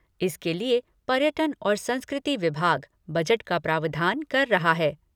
इसके लिए पर्यटन और संस्कृति विभाग, बजट का प्रावधान कर रहा है।